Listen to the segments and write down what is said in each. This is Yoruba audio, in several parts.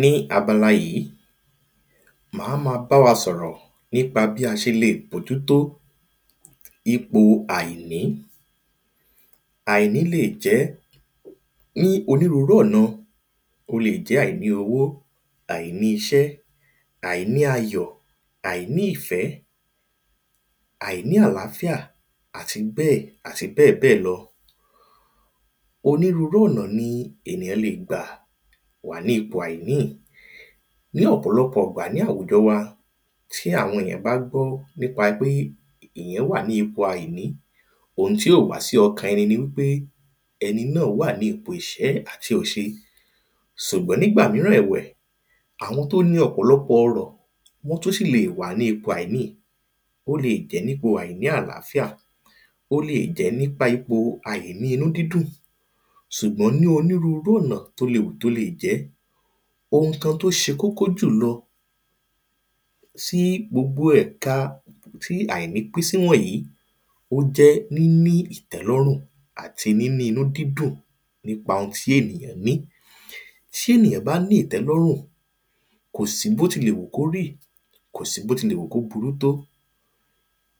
Ní abala yìí máa ma bá wa sọ̀rọ̀ nípa bí a ṣe lè bójútó ipò àìní Àìní lè jẹ́ ní onírúurú ọ̀nà O lè jẹ́ àìní owó àìní iṣẹ́ àìní ayọ̀ àìní ìfẹ́ àìní àlàáfíà àti bẹ́ẹ̀ àti bẹ́ẹ̀bẹ́ẹ̀ lọ Onírúurú ọ̀nà ni ènìyàn lè gba wà ní ipò àìní Ní ọ̀pọ̀lọpọ̀ ìgbà ní àwùjọ wa tí àwọn èyàn bá gbọ́ nípa pé èyàn wà ní ipò àìní oun tí ó wa sí ọkàn ẹni ni wípé ẹni náà wà ní ipò ìṣẹ́ àti òṣe Ṣùgbọ́n nígbà mìíràn ẹ̀wẹ̀ àwọn tí ó ní ọ̀pọ̀lọpọ̀ ọrọ̀ wọ́n tún ṣì lè wà ní ipò àìní Ó lè jẹ́ ní ipò àìní àlàáfíà O lè jẹ́ nípa ipò àìní inú dídùn Ṣùgbọ́n ní onírúurú ọ̀nà tí ó lè wù kí ó lè jẹ́ oun kan tí ó ṣe kókó jù lọ tí gbogbo ẹ̀ka tí àìní pín sí wọ̀nyìí ó jẹ́ níní ìtẹ́lọ́rùn àti níní inú dídùn nípa oun tí ènìyàn ní Tí ènìyàn bá ìtẹ́lọ́rùn kò sí bíótilẹ̀wù kí ó rí kò sí bí ó tí lè wù kí ó burú tó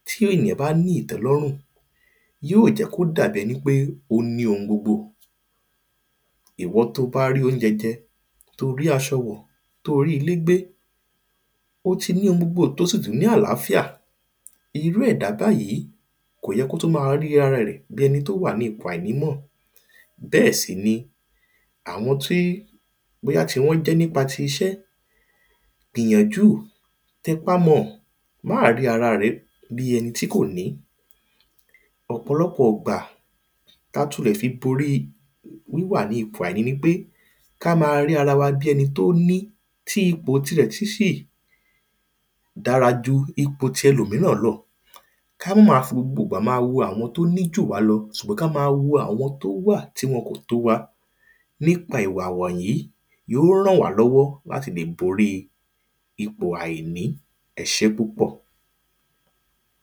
tí ènìyàn bá ní ìtẹ́lọ́rùn yóò jẹ́ kí ó dà bí ẹni pé ó ní oun gbogbo Iwọ tí o bá ri óunjẹ jẹ́ tí o rí aṣọ wọ̀ tí o rí ilé gbé o tí ní oun gbogbo tí o sì tún ní àlàáfíà Irú ẹ̀dá báyì kò yẹ kí ó tún máa rí ara rẹ̀ bíi ẹni tí ó wà ní ipò àìní mọ́ Bẹ́ẹ̀ si ni àwọn tí bóyá ti wọ́n jẹ́ nípa tí iṣẹ́ gbìyànjú Tẹpá mọ ọ̀ Má rí ara rẹ bíi ẹni tí kò ní Ọ̀pọ̀lọpọ̀ ìgbà tí a tún lè fi borí wíwà ní ipò àìní ni pé kí á máa rí ara wa bí ẹni tí ó ní tí ipò tíẹ tú ṣì dára ju ipò tí ẹlòmíràn lọ Ki á má máa fi gbogbo ìgbà máa wo àwọn tí ó ní jù wá lọ Sùgbọ́n kí á ma wo àwọn tí ó wà tí wọn kò tó waàìní Nípa ìwà wọ̀nyìí yóò rànwálọ́wọ́ láti lè borí ipò àìní Ẹ ṣé púpọ̀